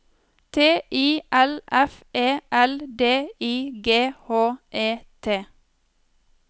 T I L F E L D I G H E T